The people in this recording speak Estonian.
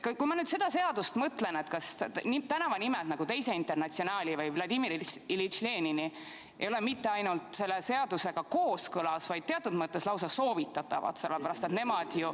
Kui ma nüüd sellele seadusele mõtlen, siis kas sellised tänavanimed nagu Teine Internatsionaal või Vladimir Iljitš Lenin ei ole mitte ainult selle seadusega kooskõlas, vaid teatud mõttes lausa soovitatavad?